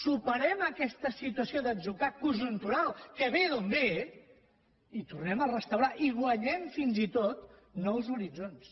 superem aquesta situació d’atzucac conjuntural que ve d’on ve i tornem a restaurar i guanyem fins i tot nous horitzons